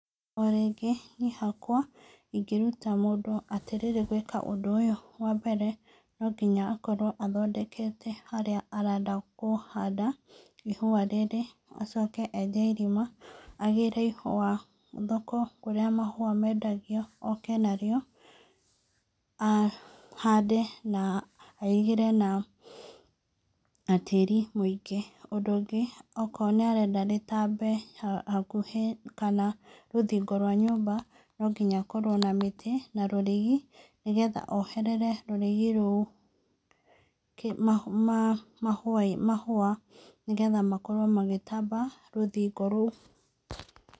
O rĩngĩ niĩ hakwa ingĩruta mũndũ atĩrĩrĩ gwĩka ũndũ ũyũ, wa mbere no nginya akorwo athondekete harĩa arenda kũhanda ihũa rĩrĩ acoke enje irima, agĩre ihũa thoko kũrĩa mahũa mendagio, oke narĩo ahande na airigĩre na tĩri mũingĩ. Ũndũ ũngĩ, okorwo nĩ arenda rĩtambe hakuhi kana rũthingo rwa nyũmba no nginya akorwo na mĩtĩ na rũrigi nĩgetha oherere rũrigi rũu mahũa nĩgetha makorwo magĩtamba rũthingo rũu.